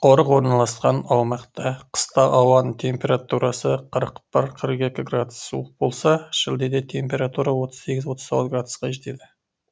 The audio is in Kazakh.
қорық орналасқан аумақта қыста ауаның температурасы қырық бір қырық екі градус суық болса шілдеде температура отыз сегіз отыз тоғыз градусқа жетеді